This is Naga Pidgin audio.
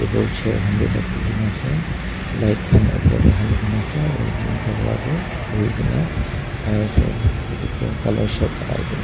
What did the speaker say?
wood chair khan vi rakhikena ase light khan opor tae halina ase aru ekjon chura toh bhuina khai ase etu pink colour shirt lagai kena.